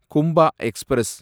Kumbha express